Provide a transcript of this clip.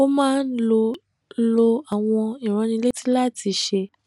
ó máa ń lo lo àwọn ìránnilétí láti ṣe